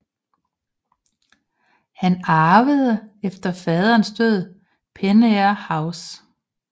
Han arvede efter faderens død Penair House